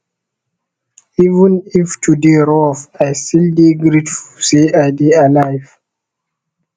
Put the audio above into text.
even if today rough i still dey grateful say i dey alive